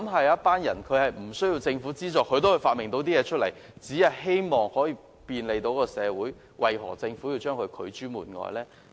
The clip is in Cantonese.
有些人沒有政府資助下發明出新產品，只為便利社會，政府為何將他們拒諸門外？